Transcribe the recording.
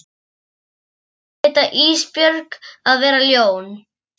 Segist heita Ísbjörg og vera ljón.